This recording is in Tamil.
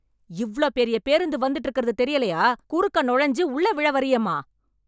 இவ்ளோ பெரிய பேருந்து வந்துட்டு இருக்கறது தெரியலயா... குறுக்கே நுழைஞ்சு உள்ளே விழ வர்றியேமா...